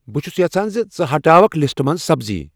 بہٕ چُھس یژھان ژٕ ہٹاوکھ لسٹہٕ پیٹھہٕ سبزی ۔